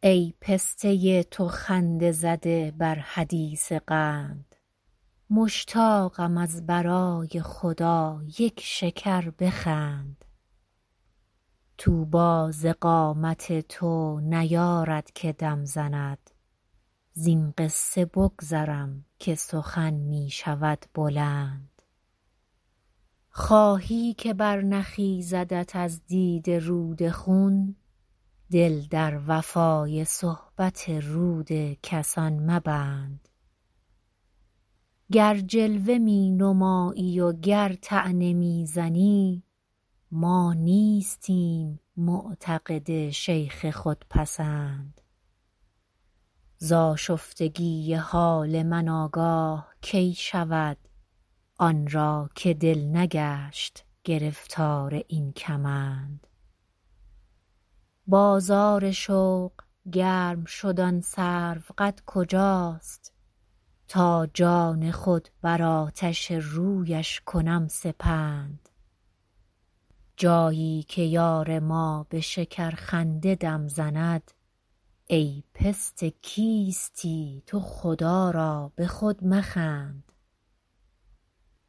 ای پسته تو خنده زده بر حدیث قند مشتاقم از برای خدا یک شکر بخند طوبی ز قامت تو نیارد که دم زند زین قصه بگذرم که سخن می شود بلند خواهی که برنخیزدت از دیده رود خون دل در وفای صحبت رود کسان مبند گر جلوه می نمایی و گر طعنه می زنی ما نیستیم معتقد شیخ خودپسند ز آشفتگی حال من آگاه کی شود آن را که دل نگشت گرفتار این کمند بازار شوق گرم شد آن سروقد کجاست تا جان خود بر آتش رویش کنم سپند جایی که یار ما به شکرخنده دم زند ای پسته کیستی تو خدا را به خود مخند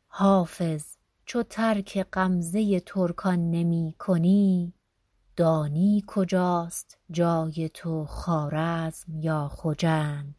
حافظ چو ترک غمزه ترکان نمی کنی دانی کجاست جای تو خوارزم یا خجند